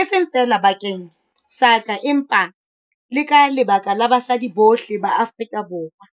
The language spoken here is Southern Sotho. e seng feela bakeng sa ka empa le ka lebaka la basadi bohle ba Afrika Borwa."